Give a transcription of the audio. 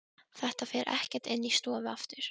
Þetta fer ekkert inn í stofu aftur!